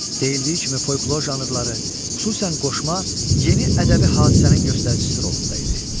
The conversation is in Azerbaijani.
Deyildiyi kimi folklor janrları, xüsusən qoşma yeni ədəbi hadisənin göstəricisi rolunda idi.